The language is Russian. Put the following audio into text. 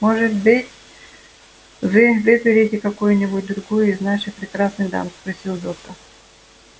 может быть вы выберете какую-нибудь другую из наших прекрасных дам спросил доктор